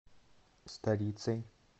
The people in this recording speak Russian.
старицей